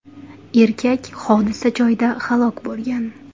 Erkak hodisa joyida halok bo‘lgan.